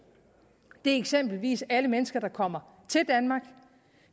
det er eksempelvis alle mennesker der kommer til danmark